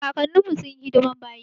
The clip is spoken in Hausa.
kakanin mu sunyi hidiman bayi.